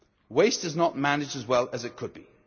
Waste is not managed as well as it could be.